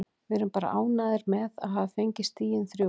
Við erum bara ánægðir með að hafa fengið stigin þrjú.